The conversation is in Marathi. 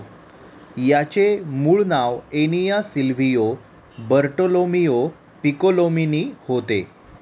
याचे मूळ नाव एनिया सिल्व्हियो बर्टोलोमीओ पिकोलोमीनी होते.